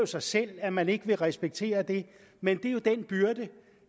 sig selv at man ikke vil respektere det men det er jo den byrde